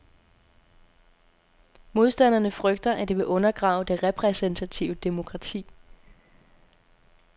Modstanderne frygter, at det vil undergrave det repræsentative demokrati.